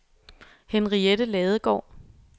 Henriette Ladegaard